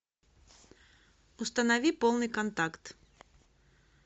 установи полный контакт